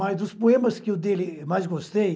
Mas dos poemas que o dele mais gostei,